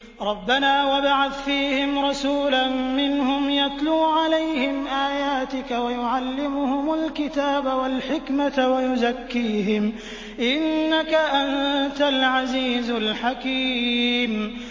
رَبَّنَا وَابْعَثْ فِيهِمْ رَسُولًا مِّنْهُمْ يَتْلُو عَلَيْهِمْ آيَاتِكَ وَيُعَلِّمُهُمُ الْكِتَابَ وَالْحِكْمَةَ وَيُزَكِّيهِمْ ۚ إِنَّكَ أَنتَ الْعَزِيزُ الْحَكِيمُ